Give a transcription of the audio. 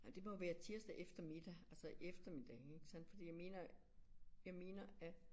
Ja det må være tirsdag efter middag altså eftermiddag ikke sandt fordi jeg mener jeg mener at